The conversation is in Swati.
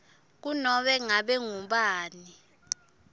kunobe ngabe ngubani